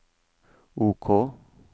OK